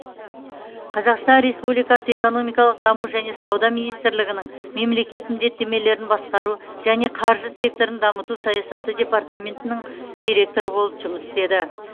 қазақстан республикасы экономикалық даму және сауда министрлігінің мемлекет міндеттемелерін басқару және қаржы секторын дамыту саясаты департаментінің директоры болып жұмыс істеді